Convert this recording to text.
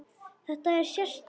Þetta er sérstök þjóð.